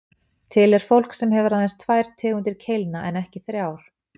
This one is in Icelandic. Til er fólk sem hefur aðeins tvær tegundir keilna en ekki þrjár.